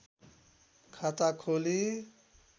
खाता खोली